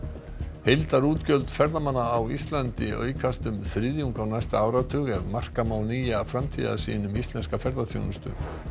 heildarútgjöld ferðamanna á Íslandi aukast um þriðjung á næsta áratug ef marka má nýja framtíðarsýn um íslenska ferðaþjónustu